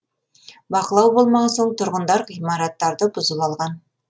бақылау болмаған соң тұрғындар ғимараттарды бұзып алған